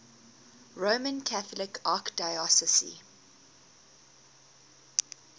roman catholic archdiocese